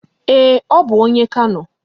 Ee, ọ bụ onye Kano